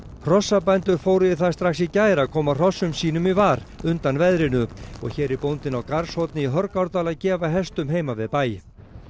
hrossabændur fóru í það strax í gær að koma hrossum í var undan veðrinu og hér er bóndinn á Garðshorni í Hörgárdal að gefa hestum heima við bæ